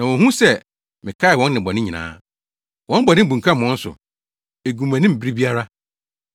Na wonhu sɛ mekae wɔn nnebɔne nyinaa. Wɔn bɔne bunkam wɔn so; egu mʼanim bere biara.